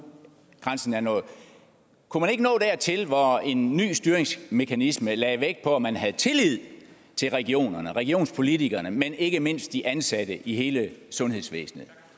grænsen er nået kunne man ikke nå dertil hvor en ny styringsmekanisme lagde vægt på om man havde tillid til regionerne altså regionspolitikerne men ikke mindst de ansatte i hele sundhedsvæsenet